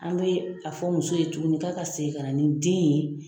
An bɛ a fɔ muso ye tuguni k'a ka segin ka na ni den ye.